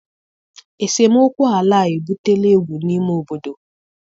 Esemokwu ala a ebutela egwu n'ime obodo.